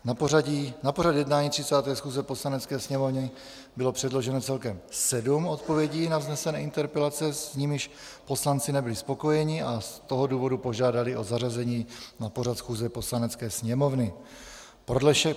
Na pořad jednání 30. schůze Poslanecké sněmovny bylo předloženo celkem sedm odpovědí na vznesené interpelace, s nimiž poslanci nebyli spokojeni, a z toho důvodu požádali o zařazení na pořad schůze Poslanecké sněmovny.